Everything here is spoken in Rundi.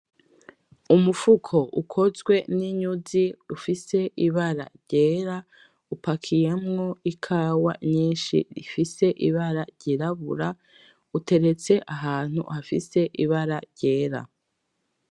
Umufuko ukozwe n'inyuzi ufise ibara ryera upakiyemwo ikawa nyinshi ifise ibara ryirabura uteretse ahantu hafise ibara ryera.